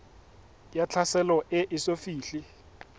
ya tlhaselo e eso fihle